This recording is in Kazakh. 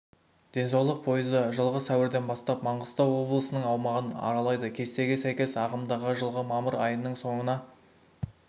денсаулық пойызы жылғы сәуірден бастап маңғыстау облысының аумағын аралайды кестеге сәйкес ағымдағы жылғы мамыр айының соңына